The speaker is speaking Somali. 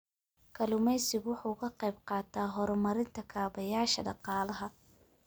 Kalluumaysigu waxa uu ka qayb qaataa horumarinta kaabayaasha dhaqaalaha.